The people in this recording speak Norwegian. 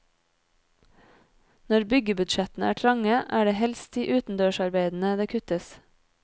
Når byggebudsjettene er trange, er det helst i utendørsarbeidene det kuttes.